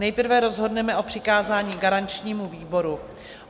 Nejprve rozhodneme o přikázání garančnímu výboru.